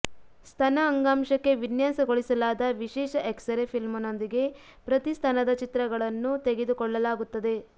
ಸ್ತನ ಅಂಗಾಂಶಕ್ಕೆ ವಿನ್ಯಾಸಗೊಳಿಸಲಾದ ವಿಶೇಷ ಎಕ್ಸರೆ ಫಿಲ್ಮ್ನೊಂದಿಗೆ ಪ್ರತಿ ಸ್ತನದ ಚಿತ್ರಗಳನ್ನು ತೆಗೆದುಕೊಳ್ಳಲಾಗುತ್ತದೆ